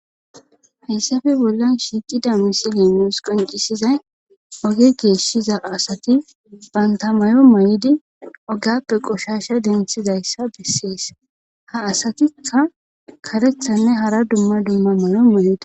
hayssafe bollan shiiqida misiley nus qoncisizay oge geeshshiza asati banta mayo may7idi ogappe qoshasha denthizayssa bessees ha asatikka karethanne hara dumma dumma mayo may7ida